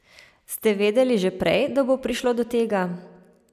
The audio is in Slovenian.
Ste vedeli že prej, da bo prišlo do tega?